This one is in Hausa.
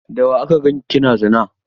Da wa aka ganki kina zina?